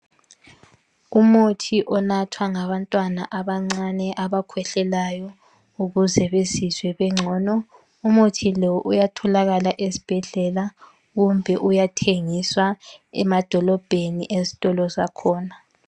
Umuthi onathwa ngabantwana abancane abakhwehlelayo ukuze bezizwe begcono umuthi lo uyatholakala ezibhedlela kumbe uyathengiswa emadolobheni ezitolo zakhona.